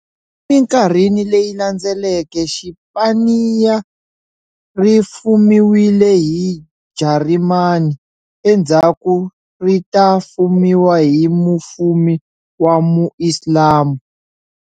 E minkarhini leyi landzeleke, Xipaniya ri fumiwile hi Jarimani, endhzaku ri ta fumiwa hi mufumi wa mu Islamu.